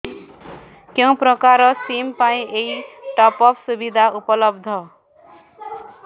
କେଉଁ ପ୍ରକାର ସିମ୍ ପାଇଁ ଏଇ ଟପ୍ଅପ୍ ସୁବିଧା ଉପଲବ୍ଧ